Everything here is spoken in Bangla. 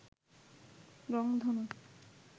রংধনু